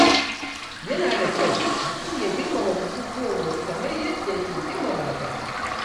Yana da kyau mutum ya girmama bukukuwan wasu kamar yadda yake girmama na kansa.